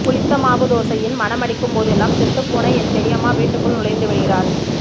புளித்த மாவு தோசையின் மணமடிக்கும் போதெல்லாம் செத்துப்போன என் பெரியம்மா வீட்டுக்குள் நுழைந்து விடுகிறாள்